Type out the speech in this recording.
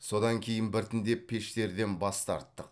содан кейін біртіндеп пештерден бас тарттық